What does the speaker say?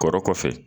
Kɔrɔ kɔfɛ